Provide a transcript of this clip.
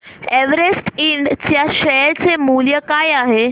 Everest इंड च्या share चे मूल्य काय आहे